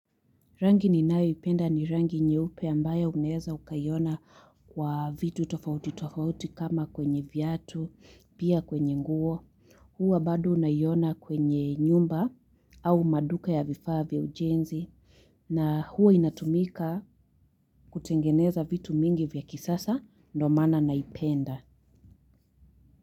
Rangi ninayoipenda ni rangi nyeupe ambayo unaeza ukaiona kwa vitu tofauti tofauti kama kwenye viatu, pia kwenye nguo. Huwa bado unaiona kwenye nyumba au maduka ya vifaa vya ujenzi. Na huwa inatumika kutengeneza vitu mingi vya kisasa ndo maana naipenda.